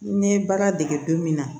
N ye baara dege don min na